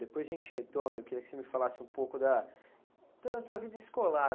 Depois a gente retorna, eu queria que você me falasse um pouco da, da tua vida escolar.